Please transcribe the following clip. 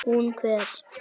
Hún hver?